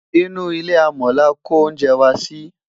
inú ilé amò là kò oúnjẹ wà Si